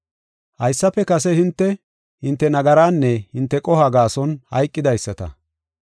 Haysafe kase hinte, hinte nagaraanne hinte qohuwa gaason hayqidaysata.